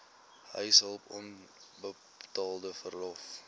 huishulp onbetaalde verlof